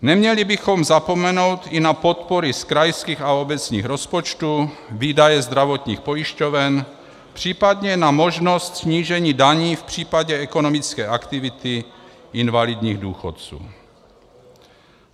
Neměli bychom zapomenout i na podpory z krajských a obecních rozpočtů, výdaje zdravotních pojišťoven, případně na možnost snížení daní v případě ekonomické aktivity invalidních důchodců.